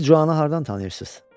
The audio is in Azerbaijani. Siz Cuanı hardan tanıyırsınız?